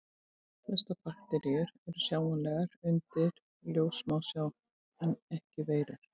Flestar bakteríur eru sjáanlegar undir ljóssmásjá en ekki veirur.